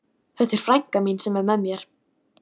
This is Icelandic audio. Þetta er frænka mín sem er með mér!